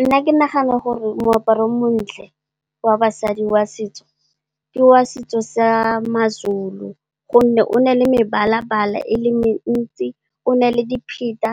Nna, ke nagana gore moaparo o montle wa basadi wa setso ke wa setso sa Mazulu. Gonne, o ne le mebala-bala e le mentsi o ne le dipheta